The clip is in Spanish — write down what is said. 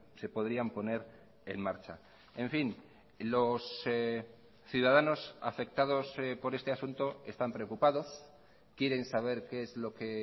se podrían poner en marcha en fin los ciudadanos afectados por este asunto están preocupados quieren saber qué es lo que